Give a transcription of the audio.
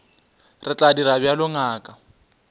re tla dira bjalo ngaka